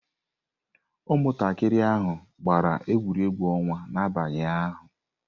Ụmụntakịrị ahụ gbara egwuregwu ọnwa n'abalị ụnyaahụ.